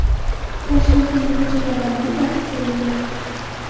Toshkentdagi ko‘chalardan biri yopib qo‘yildi .